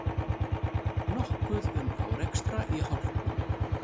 Nokkuð um árekstra í hálkunni